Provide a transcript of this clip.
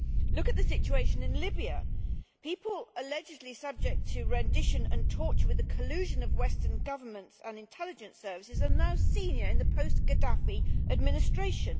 Look at the situation in Libya. People allegedly subject to rendition and torture with the collusion of Western governments and intelligence services are now senior in the post Gaddafi administration.